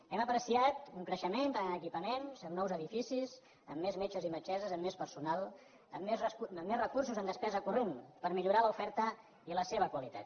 hem apreciat un creixement tant en equipaments amb nous edificis amb més metges i metgesses amb més personal amb més recursos en despesa corrent per millorar l’oferta i la seva qualitat